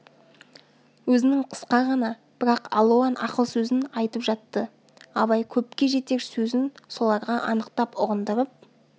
өзінің қысқа ғана бірақ алуан ақыл сөзін айтып жатты абай көпке жетер сөзін соларға анықтап ұғындырып